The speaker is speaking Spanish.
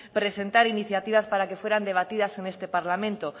presentar iniciativas para que fueran debatidas en este parlamento